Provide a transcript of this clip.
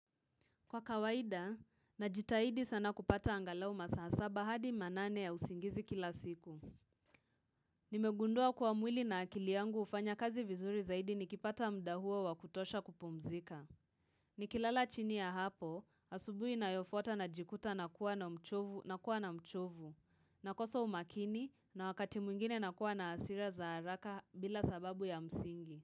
Kwa kawaida, na jitaidi sana kupata angalau masaa saba hadi manane ya usingizi kila siku. Nimegundua kwa mwili na akili yangu hufanya kazi vizuri zaidi nikipata mda huo wa kutosha kupumzika. Nikilala chini ya hapo, asubui inayofuata najikuta na kuwa na uchovu, na kuwa na uchovu, na kosa umakini na wakati mwingine na kuwa na hasira za haraka bila sababu ya msingi.